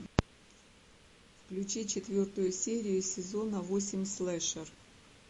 включи четвертую серию сезона восемь слэшер